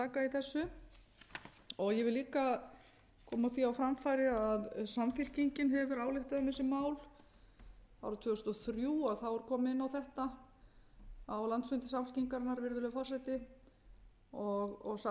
þessu ég vil líka koma því á framfæri að samfylkingin hefur ályktað um þessi mál árið tvö þúsund og þrjú var komið inn á þetta á landsfundi samfylkingarinnar virðulegi forseti og sagt að ráðherrar eigi að segja af sér